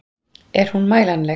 Er hún mælanleg?